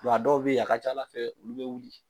a dɔw bɛ a ka ca Ala fɛ olu bɛ wili